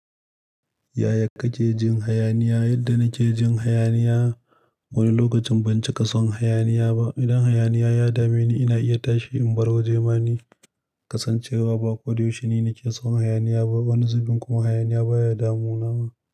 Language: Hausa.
Yaya kake jin hayaniya? Yadda nake jin hayaniya, wani lokacin ban cika son hayaniya ba. Idan hayaniya ya dame ni, ina iya tashi in bar waje ma ni kasancewa ba ko da yaushe ni nake son hayaniya ba. Wani zubin kuma hayaniya baya damunawa.